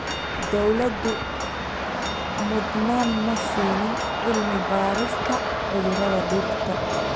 Dawladdu mudnaan ma siin cilmi-baarista cudurrada dhirta.